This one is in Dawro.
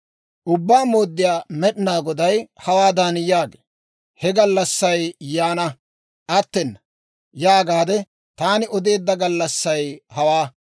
«Ubbaa Mooddiyaa Med'inaa Goday hawaadan yaagee; ‹ «He gallassay yaana; attena» yaagaade taani odeedda gallassay hawaa.